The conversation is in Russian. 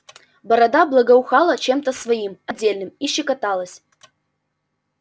борода благоухала чем-то своим отдельным и щекоталась